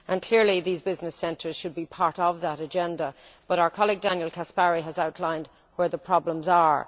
Clearly these business centres should be part of that agenda, but our colleague Daniel Caspary has outlined where the problems are.